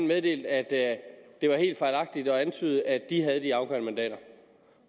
meddelte at det var fejlagtigt at antyde at de havde det afgørende mandat